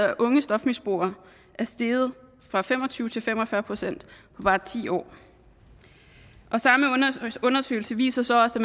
af unge stofmisbrugere er steget fra fem og tyve til fem og fyrre procent på bare ti år den samme undersøgelse viser så også